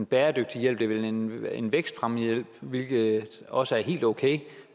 bæredygtighed det er vel en vækstfremme hvilket også er helt okay